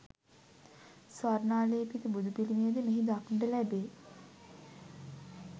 ස්වර්ණාලේපිත බුදුපිළිමය ද මෙහි දක්නට ලැබේ.